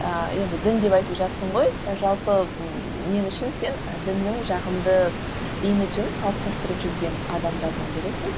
ыыы енді дін деп айтып жатырсың ғой жалпы мен үшін сен діннің жағымды имиджін қалыптастырып жүрген адамдардың бірісің